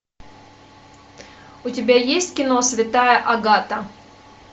у тебя есть кино святая агата